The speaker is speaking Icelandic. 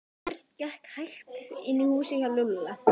Örn gekk hægt inn í húsið hjá Lúlla.